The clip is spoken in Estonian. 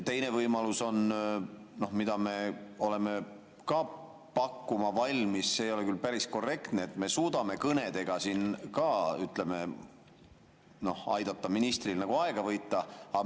Teine võimalus on, mida me oleme ka valmis pakkuma – see ei ole küll päris korrektne –, et me suudame kõnedega siin, ütleme, aidata ministril aega võita.